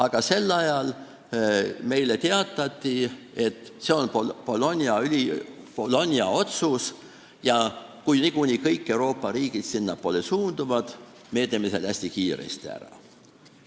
Kuid sel ajal meile teatati, et see on Bologna süsteem ja kui niikuinii kõik Euroopa riigid sinnapoole suunduvad, siis meie teeme selle hästi kiiresti ära.